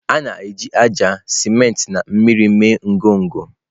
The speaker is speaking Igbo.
A na-eji ájá, siment na mmiri mee ngọngọ.